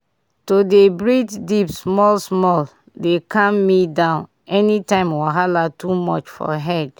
to dey breathe deep small-small dey calm me down anytime wahala too much for head.